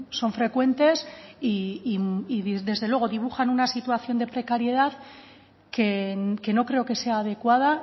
son frecuentes y desde luego dibujan una situación de precariedad que no creo que sea adecuada